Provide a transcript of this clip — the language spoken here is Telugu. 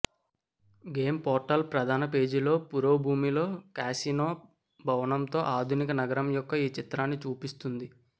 గేమ్ పోర్టల్ ప్రధాన పేజీలో పురోభూమిలో కాసినో భవనంతో ఆధునిక నగరం యొక్క ఒక చిత్రాన్ని చూపిస్తుంది